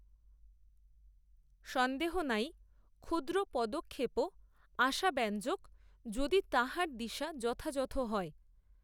সন্দেহ নাই, ক্ষুদ্র পদক্ষেপও, আশাব্যঞ্জক, যদি তাহার দিশা, যথাযথ হয়